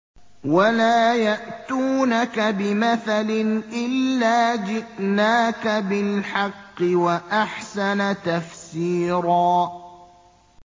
وَلَا يَأْتُونَكَ بِمَثَلٍ إِلَّا جِئْنَاكَ بِالْحَقِّ وَأَحْسَنَ تَفْسِيرًا